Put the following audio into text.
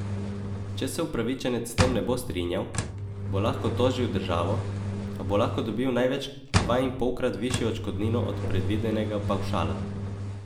Če se upravičenec s tem ne bo strinjal, bo lahko tožil državo, a bo lahko dobil največ dvainpolkrat višjo odškodnino od predvidenega pavšala.